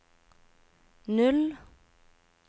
null